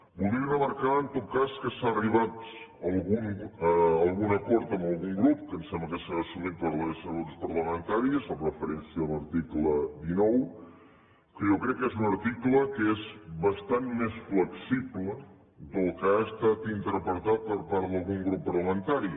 voldria remarcar en tot cas que s’ha arribat a algun acord amb algun grup que em sembla que serà assumit per la resta de grups parlamentaris en referència a l’article dinou que jo crec que és un article que és bastant més flexible del que ha estat interpretat per part d’algun grup parlamentari